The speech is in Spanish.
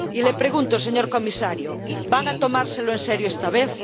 Y le pregunto, señor comisario ¿van a tomárselo en serio esta vez?,